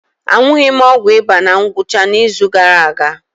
Aṅụghị m ọgwụ ịba na ngwụcha izu gara aga.